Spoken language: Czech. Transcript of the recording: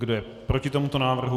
Kdo je proti tomuto návrhu?